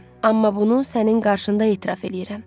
Amma bunu sənin qarşında etiraf eləyirəm.